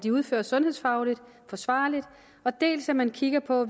udføres sundhedsfagligt forsvarligt dels at man kigger på